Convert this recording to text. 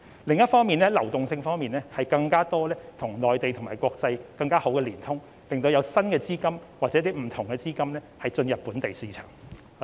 此外，在流動性方面，我們要與內地及國際有更多及更好的連通，吸引新的資金或不同的資金進入本地市場。